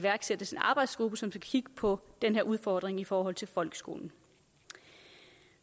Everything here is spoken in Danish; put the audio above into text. arbejdsgruppe som skal kigge på den her udfordring i forhold til folkeskolen